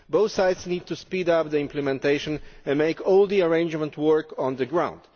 Both sides need to speed up the implementation and make all the arrangements work on the ground.